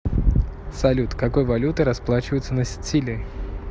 салют какой валютой расплачиваются на сицилии